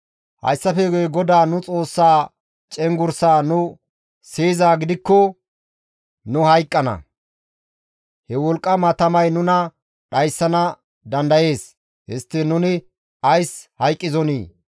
Hayssafe guye GODAA nu Xoossaa cenggurssaa nu siyizaa gidikko nu hayqqana; he wolqqama tamay nuna dhayssana dandayees; histtiin nuni ays hayqqizonii?